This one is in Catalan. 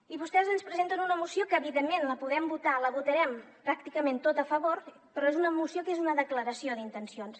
i vostès ens presenten una moció que evidentment la podem votar la votarem pràcticament en tot a favor però és una moció que és una declaració d’intencions